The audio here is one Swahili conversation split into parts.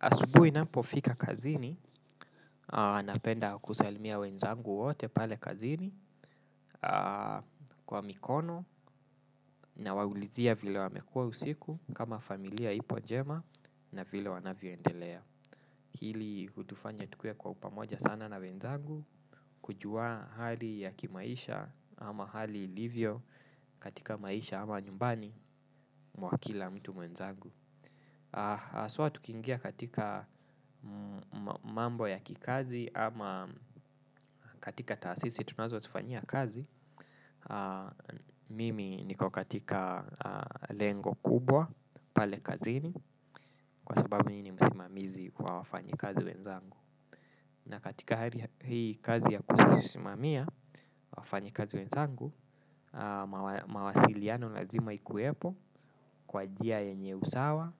Asubui napofika kazini, napenda kusalimia wenzangu wote pale kazini kwa mikono nawaulizia vile wamekua usiku kama familia ipo jema na vile wanavyoendelea. Hili hutufanya tukuwe kwa upamoja sana na wenzangu, kujua hali ya kimaisha ama hali ilivyo katika maisha ama nyumbani mwa kila mtu mwenzangu. Aswa tukingia katika mambo ya kikazi ama katika taasisi tunazo sifanyia kazi Mimi niko katika lengo kubwa pale kazini kwa sababu mi ni msimamizi kwa wafanyikazi wenzangu. Na katika hii kazi ya kusimamia wafanyikazi wenzangu mawasiliano lazima ikuepo kwa jia yenye usawa,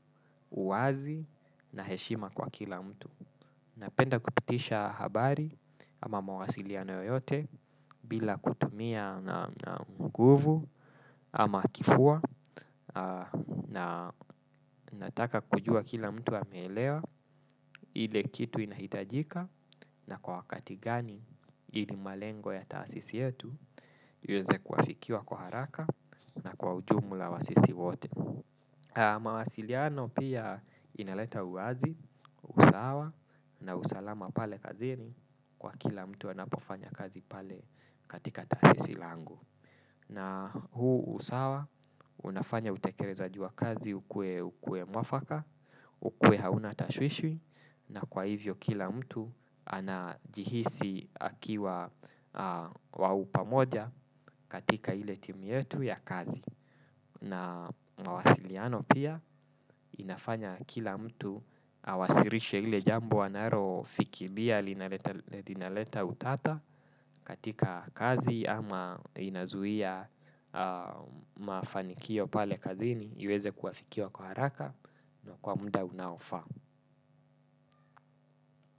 uazi na heshima kwa kila mtu. Napenda kupitisha habari ama mawasiliano yote bila kutumia nguvu ama kifua na nataka kujua kila mtu amelewa ile kitu inahitajika na kwa wakati gani ili malengo ya taasisi yetu iweze kuwafikia kwa haraka na kwa ujumla wa sisi wote. Mawasiliano pia inaleta uwazi, usawa na usalama pale kazini kwa kila mtu anapofanya kazi pale katika tasisi langu. Na huu usawa unafanya utekerezaji wa kazi ukuwe mwafaka, ukuwe hauna tashwishwi na kwa hivyo kila mtu anajihisi akiwa wa upamoja katika ile timu yetu ya kazi. Na mawasiliano pia inafanya kila mtu awasirishe ile jambo anaro fikilia linaleta utata katika kazi ama inazuhia mafanikio pale kazini iweze kuwafikia kwa haraka na kwa muda unaofaa.